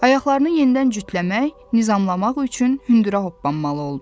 Ayaqlarını yenidən cütləmək, nizamalamaq üçün hündürə hoppanmalı oldu.